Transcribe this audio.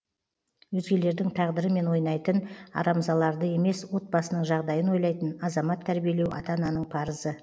өзгелердің тағдырымен ойнайтын арамзаларды емес отбасының жағдайын ойлайтын азамат тәрбиелеу ата ананың парызы